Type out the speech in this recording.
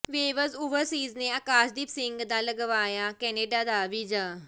waves Overseas ਨੇ ਆਕਾਸ਼ਦੀਪ ਸਿੰਘ ਦਾ ਲਗਵਾਇਆ ਕੈਨੇਡਾ ਦਾ ਵੀਜ਼ਾ